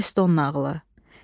Eston nağılı.